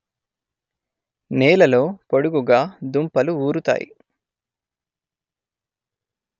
నేలలో పొడుగుగా దుంపలు ఊరుతాయి